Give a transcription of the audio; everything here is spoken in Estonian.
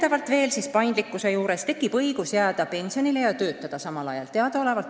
Mis puutub paindlikkusesse, siis tekib õigus jääda ennetähtaegsele pensionile ja samal ajal ka töötada.